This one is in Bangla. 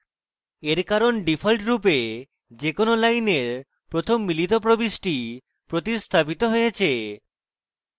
এর কারণ ডিফল্টরূপে যে কোনো লাইনের প্রথম মিলিত প্রবিষ্টি প্রতিস্থাপিত হয়েছে